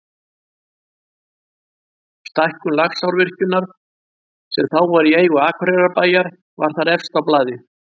Stækkun Laxárvirkjunar, sem þá var í eigu Akureyrarbæjar, var þar efst á blaði.